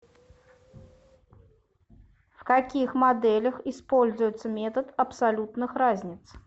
в каких моделях используется метод абсолютных разниц